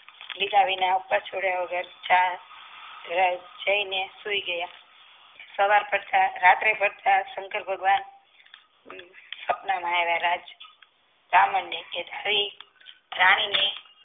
લીધા વિના અપવાસ છોડ્યા વગર ચાસ જઈને સૂઈ ગયા સવાર રાત્રે શંકર ભગવાન આપણનારાયા રાજ કે રાણીને